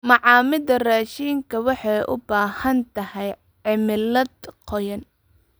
Macaamida raashinka waxay u baahan tahay cimilada qoyan.